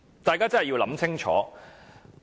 大家真的要想清楚。